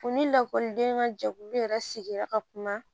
U ni lakɔliden ka jɛkulu yɛrɛ sigira ka kuma